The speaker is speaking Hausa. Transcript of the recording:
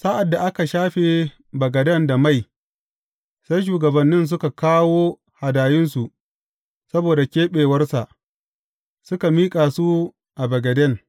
Sa’ad da aka shafe bagaden da mai, sai shugabannin suka kawo hadayunsu saboda keɓewarsa, suka miƙa su a bagaden.